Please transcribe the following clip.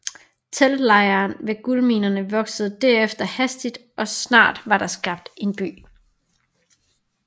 Teltlejren ved guldminerne voksede derefter hastigt og snart var der skabt en by